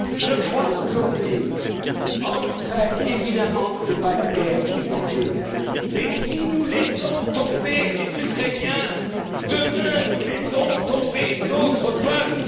commune! Je crois qu'aujourd'hui, en Ukraine, évidemment, ce n'est pas la guerre qui est en jeu mais si nous laissons tomber les Ukrainiens, demain nous laisserons tomber d'autres